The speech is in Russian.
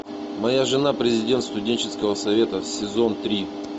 моя жена президент студенческого совета сезон три